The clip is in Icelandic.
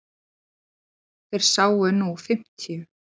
Þeir séu nú fimmtíu.